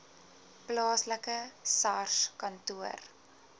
plaaslike sars kantoor